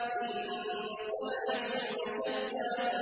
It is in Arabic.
إِنَّ سَعْيَكُمْ لَشَتَّىٰ